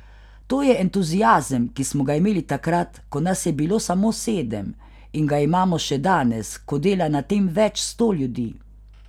To je entuziazem, ki smo ga imeli takrat, ko nas je bilo samo sedem, in ga imamo še danes, ko dela na tem več sto ljudi.